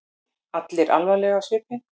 Allir alvarlegir á svipinn.